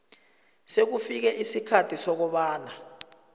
sekufike isikhathi sokobana